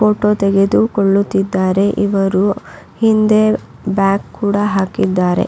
Photo ತೆಗೆದು ಕೊಳ್ಳುತ್ತಿದ್ದಾರೆ ಇವರು ಹಿಂದೆ ಬ್ಯಾಗ್ ಕೂಡ ಹಾಕಿದ್ದಾರೆ.